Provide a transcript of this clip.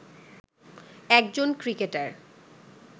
একজন ক্রিকেটার